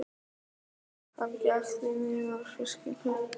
Hann gekk því niður að fiskihöfn.